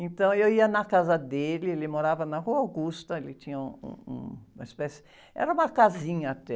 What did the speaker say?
Então, eu ia na casa dele, ele morava na Rua Augusta, ele tinha um, um, uma espécie... Era uma casinha até.